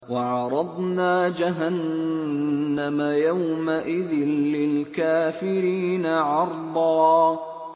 وَعَرَضْنَا جَهَنَّمَ يَوْمَئِذٍ لِّلْكَافِرِينَ عَرْضًا